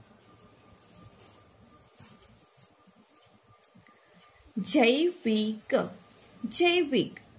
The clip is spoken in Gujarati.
જૈ વિ ક જૈવિક